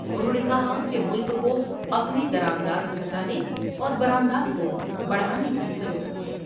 انہوں نے کہا کہ ملک کو اپنی درآمدات گھٹانے اور برآمدات کو بڑھانے کی ضرورت ہے ۔